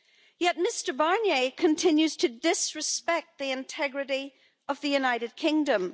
Yet, Mr Barnier continues to disrespect the integrity of the United Kingdom.